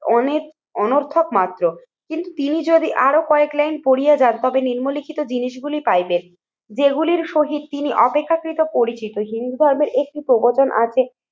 অনেক অনর্থক মাত্র কিন্তু তিনি যদি আরো কয়েক লাইন পড়িয়ে যান তবে নিম্নলিখিত জিনিসগুলি পাইবেন যেগুলির শহীদ তিনি অপেক্ষাকৃত পরিচিত। হিন্দু ধর্মের একটি প্রবচন আছে